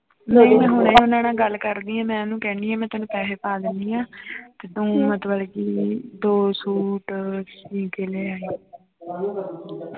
ਗੱਲ ਕਰਦੀ ਹਾਂ ਮੈਂ ਉਹਨੂੰ ਕਹਿੰਦੀ ਹਾਂ ਮੈਂ ਤੈਨੂੰ ਪੈਸੇ ਪਾ ਦਿੰਦੀ ਆਂ ਤੇ ਤੂੰ ਮਤਲਬ ਕਿ ਦੋ ਸੂਟ ਸੀਅ ਕੇ ਲੈ ਆਈਂ